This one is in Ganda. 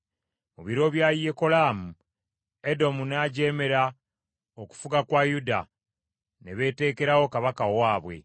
Mu biro bya Yekolaamu Edomu n’ajeemera okufuga kwa Yuda ne beeteekerawo kabaka owaabwe.